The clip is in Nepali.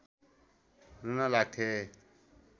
रुन लाग्थे